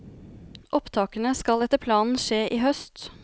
Opptakene skal etter planen skje i høst.